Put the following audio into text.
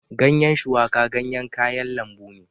Ganyen shuwaka ganyen kayan lambu ne